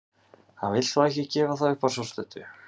Hann vill þó ekki gefa það upp að svo stöddu.